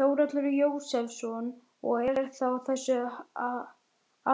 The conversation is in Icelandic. Þórhallur Jósefsson: Og er það á þessu